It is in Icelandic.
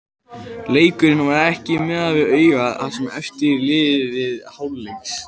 Leikurinn var ekki mikið fyrir augað það sem eftir lifði hálfleiks.